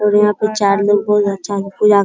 और यहाँ पे चार लोग बहुत अच्छा --